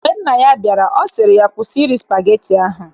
Mgbe nna ya bịara, ọ sị ya, kwụsị iri spageti ahụ!